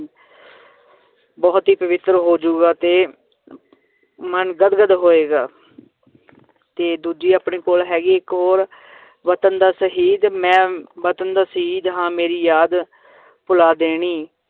ਬਹੁਤ ਹੀ ਪਵਿੱਤਰ ਹੋ ਜਾਊਗਾ ਤੇ ਮਨ ਗਦ ਗਦ ਹੋਏਗਾ ਤੇ ਦੂਜੀ ਆਪਣੀ ਕੋਲ ਹੈਗੀ ਇੱਕ ਹੋਰ ਵਤਨ ਦਾ ਸ਼ਹੀਦ ਮੈਂ ਵਤਨ ਦਾ ਸ਼ਹੀਦ ਹਾਂ ਮੇਰੀ ਯਾਦ ਭੁਲਾ ਦੇਣੀ